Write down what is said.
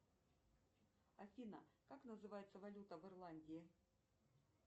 афина как называется валюта в ирландии